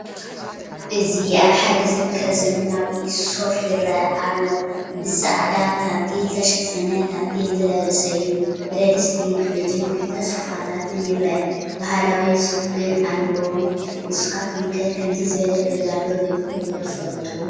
እዚ ኣብ ሓደ ዝርከብ ዘመናዊ ሶፋ ይረአ ኣሎ፡፡ ብፃዕዳ ታንቴል ዝተሸፈነ ታንቴል ዝለበሰ እዩ፡፡ ብረድስቲ፣ ፊሪጅን ክልተ ሶፋታትን ይረኣ፡፡ ባህላዊ ስፈ ግን ኣለዎን፡፡ ንስኻትኩም ከ ከምዚ ዝበለ ገዛ ዶ ሪኢኹም ዶ ትፈልጡ?